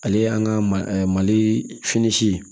Ale y'an ka mali fini si ye